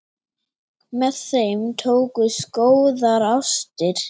Með þeim tókust góðar ástir.